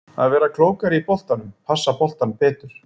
Að vera klókari á boltanum, passa boltann betur.